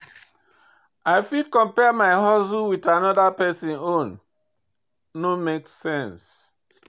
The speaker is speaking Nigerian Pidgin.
I fit compare my hustle with anoda pesin own, no make sense.